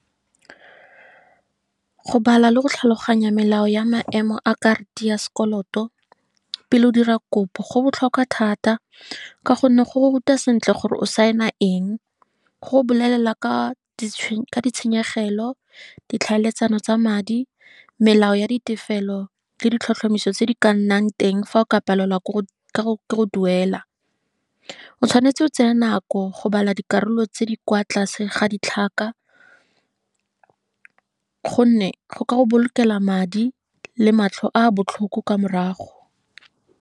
Go bala le go tlhaloganya melao ya maemo a karata ya sekoloto, pele o dira kopo, go botlhokwa thata ka gonne go go ruta sentle gore o sign-a eng, go bolelela ka ditshenyegelo, ditlhaeletsano tsa madi, melao ya ditefelelo le ditlhotlhomiso tse di ka nnang teng fa o ka palelwa ke go duela. O tshwanetse o tse e nako go bala dikarolo tse di kwa tlase ga ditlhaka, gonne go ka go bolokela madi le matlho a botlhoko ka morago.